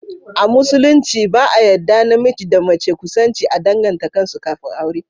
A musulunci ba a yadda namiji da mace kusanci a danganta kansu kafin aure